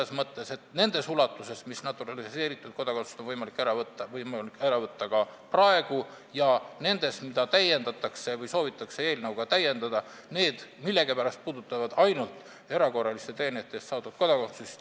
Soovitud ulatuses on naturaliseeritud kodakondsust võimalik ära võtta ka praegu ja need punktid, mida soovitakse eelnõuga täiendada, puudutavad millegipärast ainult erakorraliste teenete eest saadud kodakondsust.